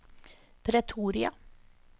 Pretoria